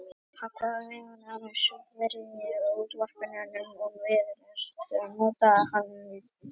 Hann kvað meðal annars í rúmenska útvarpið og við eina stemmuna notaði hann þessa vísu